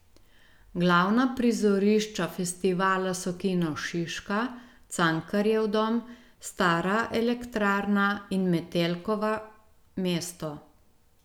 Glavna prizorišča festivala so Kino Šiška, Cankarjev dom, Stara elektrarna in Metelkova mesto.